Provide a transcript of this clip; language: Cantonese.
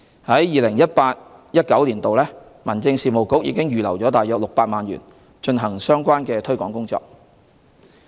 在 2018-2019 年度，民政事務局已預留約600萬元進行相關推廣工作。